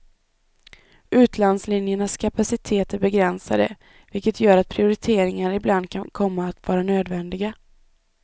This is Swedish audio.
Utlandslinjernas kapacitet är begränsade, vilket gör att prioriteringar ibland kan komma att vara nödvändiga.